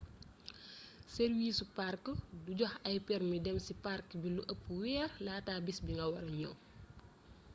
sarwiisu park minae du joxe ay permi dem ci park bi lu ëpp weer laata bis bi nga wara ñëw